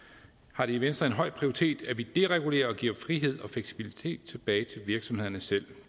har det i venstre en høj prioritet at vi deregulerer og giver frihed og fleksibilitet tilbage til virksomhederne selv